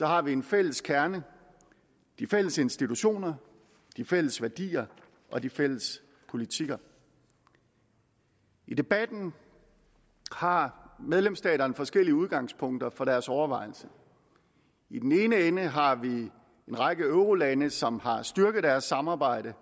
har vi en fælles kerne de fælles institutioner de fælles værdier og de fælles politikker i debatten har medlemsstaterne forskellige udgangspunkter for deres overvejelser i den ene ende har vi en række eurolande som har styrket deres samarbejde